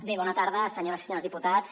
bé bona tarda senyores i senyors diputats